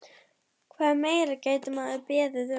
Hvað meira gæti maður beðið um?